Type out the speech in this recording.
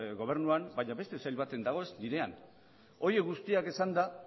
gobernuan baina beste sail batean dago ez nirean horiek guztiak esanda